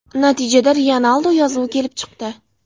Natijada Ryanaldo yozuvi kelib chiqdi.